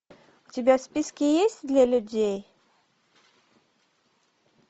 у тебя в списке есть для людей